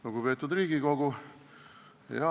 Lugupeetud Riigikogu!